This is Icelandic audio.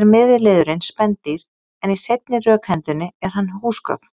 er miðliðurinn spendýr en í seinni rökhendunni er hann húsgögn.